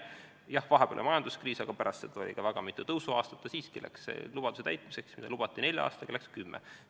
Jah, vahepeal oli majanduskriis, aga pärast seda oli ka väga mitu tõusuaastat ja siiski läks selle lubaduse täitmiseks, mis lubati äri teha nelja aastaga, kümme aastat.